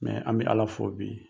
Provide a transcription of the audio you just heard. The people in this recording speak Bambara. an bɛ ala fo bi.